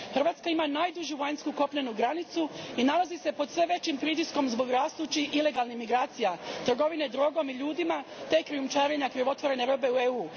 Hrvatska ima najdužu vanjsku kopnenu granicu i nalazi se pod sve većim pritiskom zbog rastućih ilegalnih migracija, trgovine drogom i ljudima te krijumčarenja krivotvorene robe u EU.